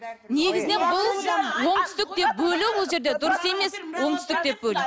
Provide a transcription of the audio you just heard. негізінен бұл оңтүстік деп бөлу бұл жерде дұрыс емес оңтүстік деп бөлу